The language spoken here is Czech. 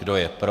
Kdo je pro?